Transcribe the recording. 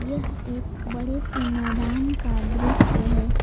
यह एक बड़े से मैदान का दृश्य है।